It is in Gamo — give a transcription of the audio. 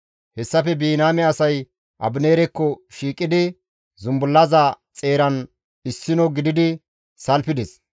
Hessafe Biniyaame asay Abineerekko shiiqidi zumbullaza xeeran issino gididi salfides.